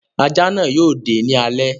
Ajá náà yóò dé ní alé.